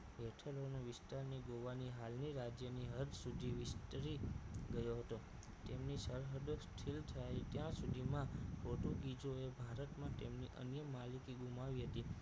હેઠળના વિસ્તારની ગોવાની હાલની રાજ્યની હદ સુધી વિસ્તરી ગયો હતો તેમની સરહદો સ્થિર થાય ત્યા સુધી માં પોર્ટુગીઝો એ ભારતમાં તેમની અનેક માલિકીગુમાવી હતી